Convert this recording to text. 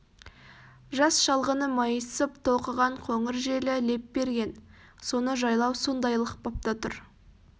жас шалғыны майысып толқыған қоңыр желі леп берген соны жайлау сондайлық бапта тұр